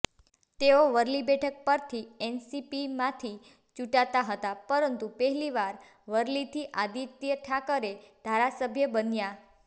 તેઓ વરલી બેઠક પરથી એનસીપીમાંથી ચૂંટાતા હતાં પરંતુ પહેલીવાર વરલીથી આદિત્ય ઠાકરે ધારાસભ્ય બન્યા